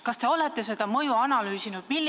Kas te olete seda mõju analüüsinud?